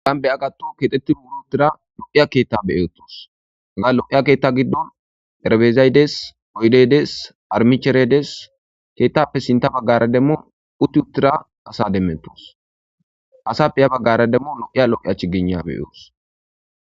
gan be7 agattu kexetti muulu uttira lo7iya keetta beyotos aga lo7iya keetta giddon erbezaydes oydedes armicheredes keettappe sinta baggara demmu utti uttira asa demmetos asappe ya baggara demmu lo7iya lo7i achi gena beyoos